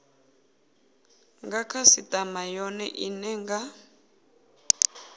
nga khasitama yone ine nga